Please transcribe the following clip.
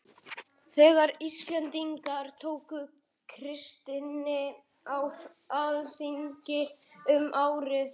Þegar Íslendingar tóku kristni á alþingi um árið